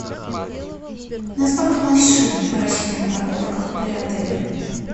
на сколько машин рассчитана парковка при отеле